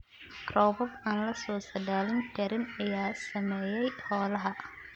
Roobab aan la saadaalin karin ayaa saameeyay xoolaha.